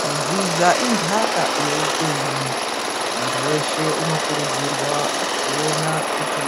Kudzidza intaka yeupenyu. Muntu weshe unokurudzirwa kuona kuti